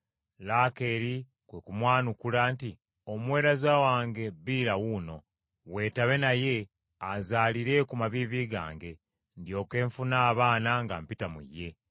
Laakeeri kwe kumwanukula nti, “Omuweereza wange Biira wuuno, weetabe naye azaalire ku maviivi gange, ndyoke nfune abaana nga mpita mu ye. ”